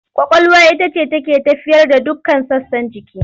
Ƙwaƙwalwa ita ce take tafiyar da dukkan sassan jiki.